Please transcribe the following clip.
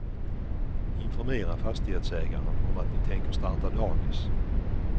Informera fastighetsägaren om att ni tänker starta dagis.